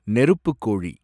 நெருப்புக் கோழி